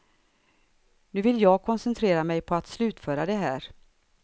Nu vill jag koncentrera mig på att slutföra det här.